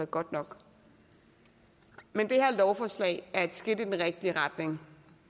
godt nok men det her lovforslag er et skridt i den rigtige retning